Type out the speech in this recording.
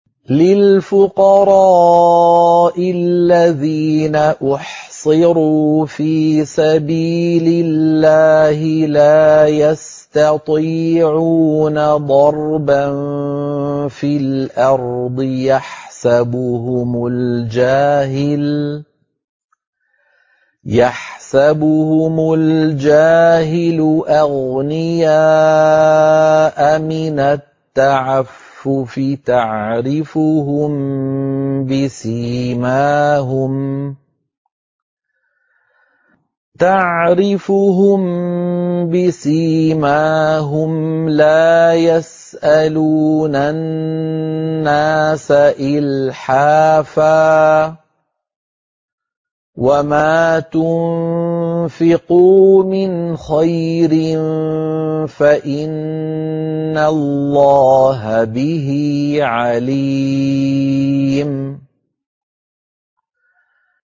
لِلْفُقَرَاءِ الَّذِينَ أُحْصِرُوا فِي سَبِيلِ اللَّهِ لَا يَسْتَطِيعُونَ ضَرْبًا فِي الْأَرْضِ يَحْسَبُهُمُ الْجَاهِلُ أَغْنِيَاءَ مِنَ التَّعَفُّفِ تَعْرِفُهُم بِسِيمَاهُمْ لَا يَسْأَلُونَ النَّاسَ إِلْحَافًا ۗ وَمَا تُنفِقُوا مِنْ خَيْرٍ فَإِنَّ اللَّهَ بِهِ عَلِيمٌ